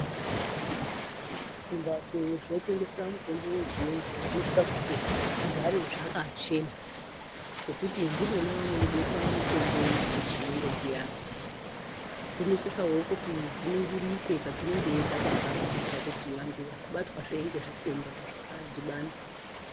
Zvimbatso zvinotengesa mitombo wechiyungu zvinosisa kuti zvigare zvakachena ngekuti ndimwona munobekwa mitombo dzechiyungu dziyani dzinosisawo kuti dziningirike padzinenge dzakagara kuitire kuti vanhu vasabatwa zve ngezvitenda zvakadhibana .